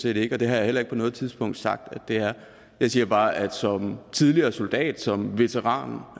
ikke og det har jeg heller ikke på noget tidspunkt sagt at det er jeg siger bare at som tidligere soldat som veteran